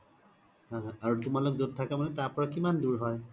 অ অ আৰু তোমালোক জত থ্কা মানে তাৰ পৰা কিমান দুৰ হয়